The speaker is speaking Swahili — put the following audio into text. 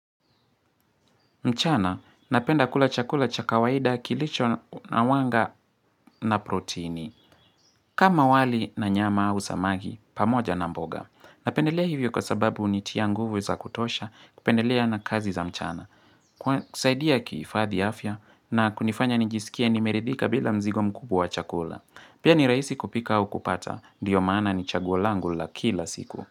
Mchana, napenda kula chakula cha kawaida kilicho na wanga na proteini. Kama wali na nyama au samaki, pamoja na mboga. Napendelea hivyo kwa sababu hunitia nguvu za kutosha kupendelea na kazi za mchana. Kusaidia kuhifadhi afya na kunifanya nijisikie nimeridhika bila mzigo mkubwa wa chakula. Pia ni rahisi kupika au kupata, ndio maana ni chaguo langu la kila siku.